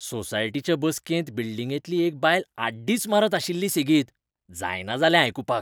सोसायटीचे बसकेंत बिल्डिंगेतली एक बायल आड्डीच मारीत आशिल्ली सेगीत, जायना जालें आयकुपाक.